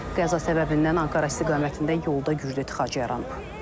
Qəza səbəbindən Ankara istiqamətində yolda güclü tıxac yaranıb.